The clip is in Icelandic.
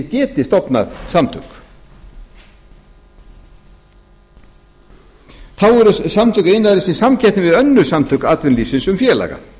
geti stofnað samtök þá eru samtök iðnaðarins í samkeppni við önnur samtök atvinnulífsins um félaga